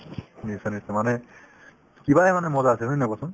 নিশ্চয় নিশ্চয় মানে কিবাৰে মানে মজা আছিল হয়নে নহয় কোৱাচোন